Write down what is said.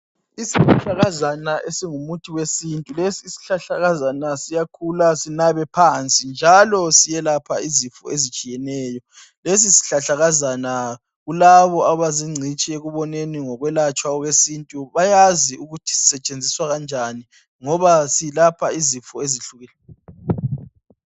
Isihlahlakazana esingumuthi wesintu. Lesi sihlahlakazana siyakhula sinabe phansi njalo siyelapha izifo ezitshiyeneyo. Lesi sihlahlakazana kulabo abazingcitshi ekuboneni ngokulatshwa kwesintu bayazi ukuthi sisetshenziswa kanjani ngoba silapha izifo ezihlukeneyo.